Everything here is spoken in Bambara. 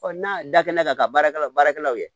n'a dakɛna ka baarakɛla baarakɛlaw ye